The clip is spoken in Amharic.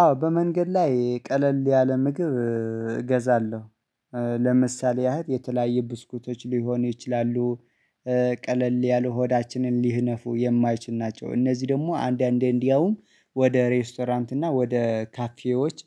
አዎ በመንገድ ላይ ቀለል ያለ ምግብ እገዛለሁ። ለምሳሌ ያህል የተለያየ ብስኩቶች ሊሆን ይችላሉ። ቀለል ያለ ሆዳችንን ሊህነፉ የማይችል ናቸው እነዚህ ደግሞ አንዳንዴ እንዲያውም ወደ ሬስቶራንት እና ወደ ካፌዎች